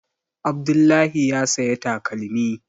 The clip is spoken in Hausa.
Abdullahi ya saya takalmi